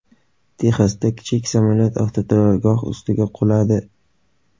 Texasda kichik samolyot avtoturargoh ustiga quladi.